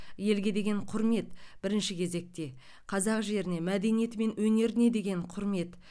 елге деген құрмет бірінші кезекте қазақ жеріне мәдениеті мен өнеріне деген құрмет